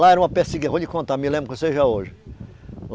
Lá era uma eu vou lhe contar, me lembro que seja hoje.